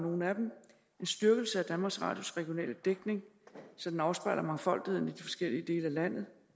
nogle af dem en styrkelse af danmarks radios regionale dækning så den afspejler mangfoldigheden i de forskellige dele af landet